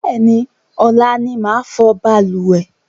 Bẹ́ẹ̀ni, ọ̀la ni màá fọ̀ balùwẹ̀